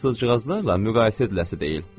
Fransızcığazlarla müqayisə ediləsi deyil.